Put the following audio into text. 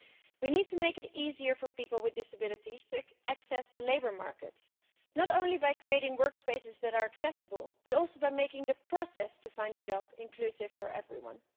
We need to make it easier for people with disabilities to access the labour market, not only by creating work spaces that are accessible, but also by making the process to find a job inclusive for everyone.